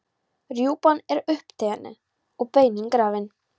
Rjúpan er uppétin og beinin grafin.